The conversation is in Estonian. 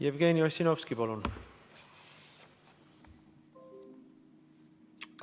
Jevgeni Ossinovski, palun!